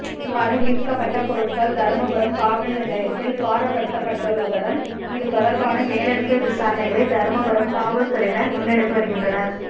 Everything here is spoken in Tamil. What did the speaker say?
இவ்வாறு மீட்கப்பட்ட பொருட்கள் தருமபுரம் காவல்நிலையத்தில் பாரப்படுத்தப்பட்டுள்ளதுடன் இது தொடர்பான மேலதிக விசாரணைகளை தருமபுரம் காவல்துறையினர் முன்னெடுத்து வருகின்றனர்